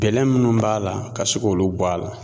Gɛlɛ minnu b'a la ka se k'olu bɔ a la